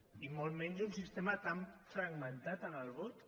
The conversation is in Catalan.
i molt menys un sistema tan fragmentat en el vot